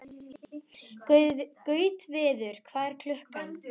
Gautviður, hvað er klukkan?